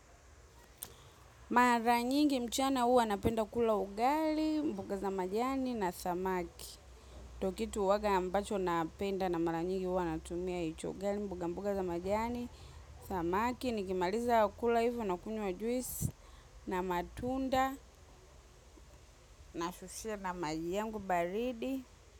Mara nyingi mchana huwa napenda kula ugali, mboga za majani na samaki kitu huwaga ambacho napenda na mara nyingi huwa natumia hicho ugali, mboga mboga za majani, samaki. Nikimaliza kula hivyo na kunywa juisi na matunda nasusia na maji yangu baridi.